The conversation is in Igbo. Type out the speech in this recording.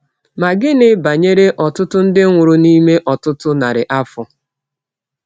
Ma gịnị banyere ọtụtụ ndị nwụrụ n’ime ọtụtụ narị afọ?